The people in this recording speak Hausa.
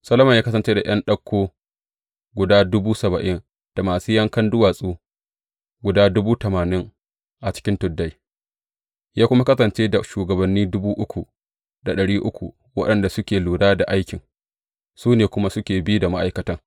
Solomon ya kasance da ’yan ɗauko guda dubu saba’in da masu yankan duwatsu guda dubu tamanin a cikin tuddai, ya kuma kasance da shugabanni dubu uku da ɗari uku waɗanda suke lura da aikin, su ne kuma suke bi da ma’aikatan.